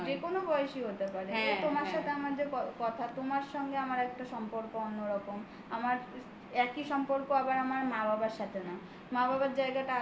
যেকোনো বয়সী হতে পারে. তোমার সাথে আমার যে কথা. তোমার সঙ্গে আমার একটা সম্পর্ক অন্যরকম. আমার একই সম্পর্ক আবার আমার মা-বাবার সাথে না মা বাবার